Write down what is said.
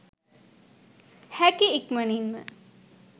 හැකි ඉක්මනින්ම